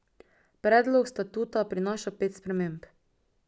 Predlog statuta prinaša pet sprememb.